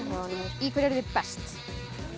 í hverju eruð þið best